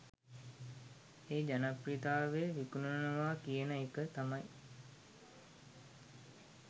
ඒ ජනප්‍රියත්වය විකුණනවා කියන එක තමයි.